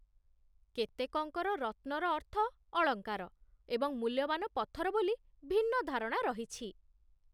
କେତେକଙ୍କର ରତ୍ନର ଅର୍ଥ ଅଳଙ୍କାର ଏବଂ ମୂଲ୍ୟବାନ ପଥର ବୋଲି ଭିନ୍ନ ଧାରଣା ରହିଛି